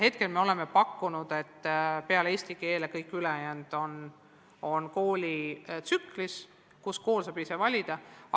Hetkel me oleme pakkunud, et peale eesti keele on kõik ülejäänud ained tsüklis, mille kool saab ise planeerida.